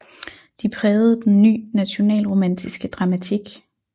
De prægede den ny nationalromantiske dramatik